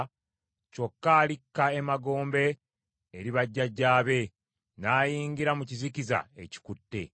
kyokka alikka emagombe eri bajjajjaabe, n’ayingira mu kizikiza ekikutte.